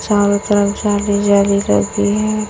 चारों तरफ जाली जाली लगी है।